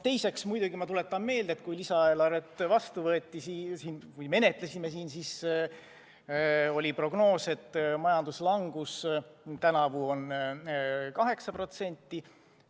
Teiseks muidugi tuletan meelde, et kui me seda lisaeelarvet siin menetlesime, siis oli prognoos selline, et majanduslangus on tänavu on 8%.